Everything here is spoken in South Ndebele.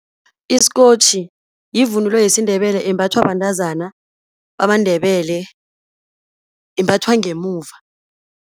Isikotjhi yivunulo yesiNdebele, embathwa bantazana bamaNdebele, imbathwa ngemuva.